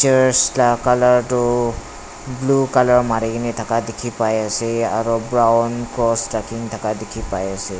church la colour tu blue colour marikae na thaka dikhipaiase aro brown cross rakhi na thaka dikhipaiase.